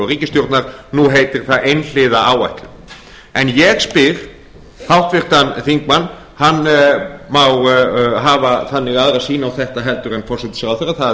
ríkisstjórnar nú heitir það einhliða áætlun en ég spyr háttvirtan þingmann hann má hafa þannig aðra sýn á þetta heldur en forsætisráðherra það